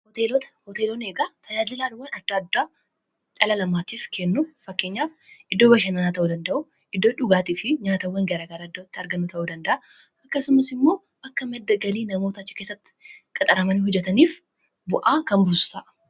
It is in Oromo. hooteeloonni eegaa tajaajilaawwan adda addaa dhalalamaatiif kennu fakkeenyaaf iddoo bashannanaa ta'uu danda'u iddoo dhugaatii fi nyaatawwan garaa gara adda'tti arganna ta'uu danda'a akkasumas immoo akka maddagalii namoota chikeessatti qaxaramanii hojataniif bu'aa kan busu ta'a